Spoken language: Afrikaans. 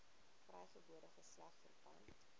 vrygebore geslag verpand